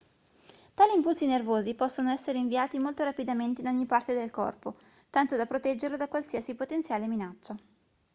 tali impulsi nervosi possono essere inviati molto rapidamente in ogni parte del corpo tanto da proteggerlo da qualsiasi potenziale minaccia